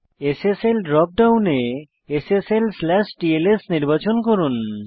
SSL ড্রপ ডাউনে sslটিএলএস নির্বাচন করুন